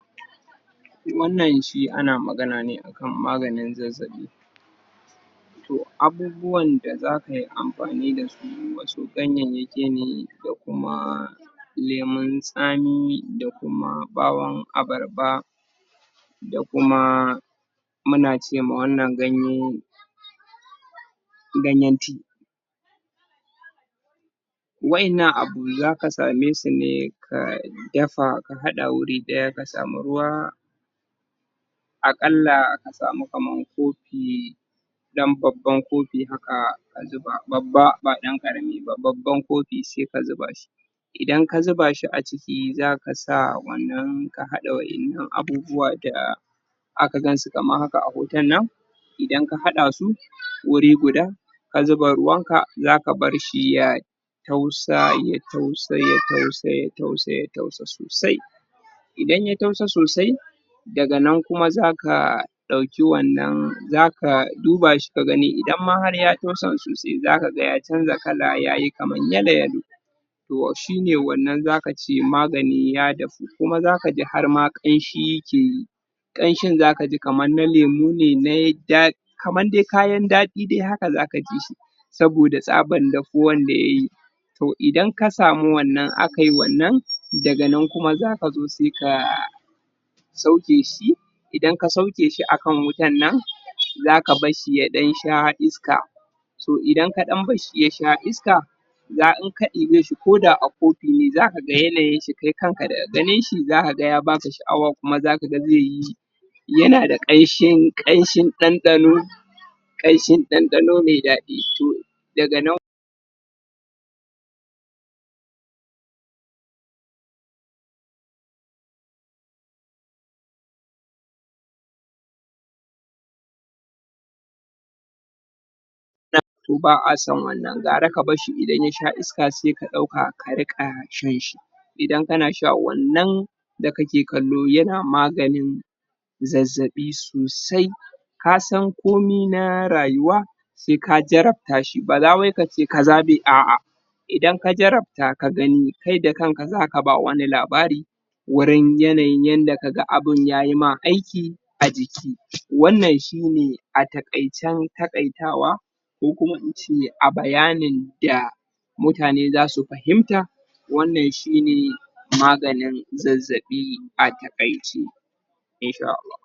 Wannan shi ana magna ne akan maganin zazzabi Abubuwan da zakay amfani dasu wasu ganyayyaki ne da kuma lemon tsami da kuma bawon abarba da kuma muna cema wannan ganye ganyen tea wa'innan abu zaka same su ne ka dafa a hada wuri daya ka samu ruwa a kalla ka samu kaman kofi dan babban kofi haka babba ba dan karami ba, babban kofi sai ka zuba shi Idan ka zuba shi aciki zakasa wannan ka hada wa'innan abubuwa da zaka gansu kamar haka a hotonnan idan ka hadasu wuri guda ka zuba ruwanka zaka barshi ya ya tausa ya tausa sosai Idan ya tausa sosai daganan kuma zaka dauki wannan, zaka duba shi kagani idan har ya tausan sosai zakaga ya cnja kala yayi kaman yalo-yalo shine wannan zakace maganin ya dahu. Kuma zakaji hama kanshi yakeyi kanshin zakajikamar na lemu ne kamar dai kayan dadi haka zakajishi saboda tsaban dahuwar da yay in ka samu wanann akai wanann, daga nan kuma zakazo sai ka ajye shi ka barshi ya dan sha iska In ka dan barshi ya sha iska in ka dube shi ko da a kofi ne zakaga ya baka sha'awa kuma zakaga zaiyi yanada kanshin dandano Kanshin dandano m dadi. Daganan ba ason wannan. Gara ka barshi idan ya sha iska sai ka dauka ka riqa shan shi Idan kanasha wannan da kake kallo yana maganin zazzabi sosai kasan komai na rayuwa ka jarrabta shi. BAza wai kace kaza bai - A'a Idan ka jarrabta ka gani, kai da kanka zaka bawa wani labari yanayin yanda kaga abun yayima aiki, wannan shine a takaicen takaitawa ko kuma in ce a bayanin da Mutane zasu fahimta wannan shine maganin zazzabi a takaice